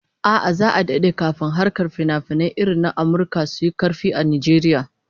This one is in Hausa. A'a, za'a dade kafin harkar finafinai irin na Amurka su yi karfi a Najeriya